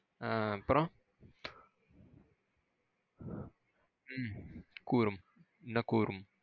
ஆ அப்புறம் உம் கூறும். என்ன கூறும்?